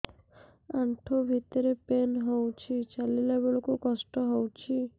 ଆଣ୍ଠୁ ଭିତରେ ପେନ୍ ହଉଚି ଚାଲିଲା ବେଳକୁ କଷ୍ଟ ହଉଚି